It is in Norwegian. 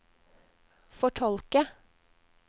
fortolke